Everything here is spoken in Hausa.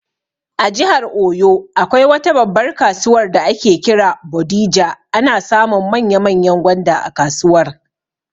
A jihar oyo, akwai wata babbar kasuwar da ake kira 'Bodija', ana samun manya manyan gwanda a kasuwar